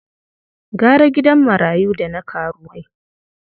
Gara gidan marayu da na karuwai.